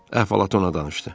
Əhvalatı ona danışdı.